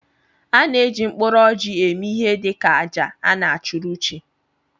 A na eji mkpụrụ orji eme ihe dị ka àjà a na achụrụ chi.